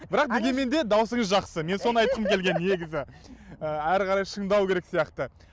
бірақ дегенмен де дауысыңыз жақсы мен соны айтқым келген негізі ы әрі қарай шыңдау керек сияқты